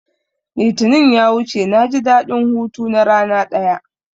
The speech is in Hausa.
Litinin ya wuce naji daɗin hutu na rana ɗaya